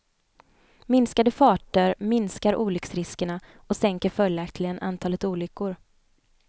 Minskade farter minskar olycksriskerna och sänker följaktligen antalet olyckor.